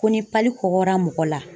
Ko ni kɔkɔra mɔgɔ la